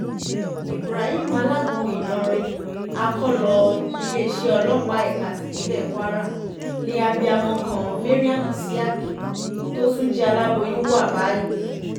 ibrahim alágúnmu ìlọrin akọ́lọ iléeṣẹ́ ọlọ́pàá ẹ̀ka tipinlẹ̀ kwara ni abiyamọ kan mariam isiaq tó tún jẹ́ aláboyún wà báyìí